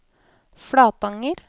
Flatanger